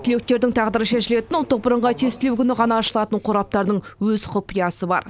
түлектердің тағдыры шешілетін ұлттық бірыңғай тестілеу күні ғана ашылатын қораптардың өз құпиясы бар